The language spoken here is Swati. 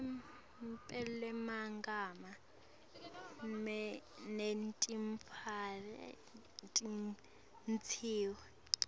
elupelomagama netimphawu tisetjentiswe